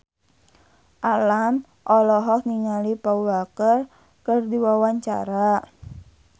Alam olohok ningali Paul Walker keur diwawancara